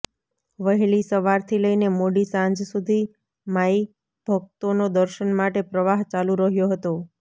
વહેલી સવારથી લઈને મોડી સાંજ સુધી માઈભકતોનો દર્શન માટે પ્રવાહ ચાલુ રહ્યો હતો